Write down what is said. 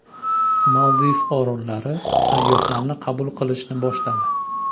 Maldiv orollari sayyohlarni qabul qilishni boshladi.